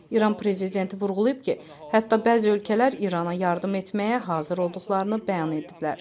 İran prezidenti vurğulayıb ki, hətta bəzi ölkələr İrana yardım etməyə hazır olduqlarını bəyan ediblər.